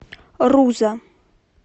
руза